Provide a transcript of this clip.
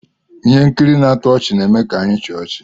ihe nkiri na-atọ ọchị na-eme ka anyị chịa ọchị